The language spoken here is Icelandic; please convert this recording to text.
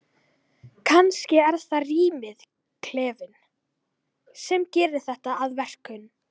Kannski er það rýmið, klefinn, sem gerir þetta að verkum.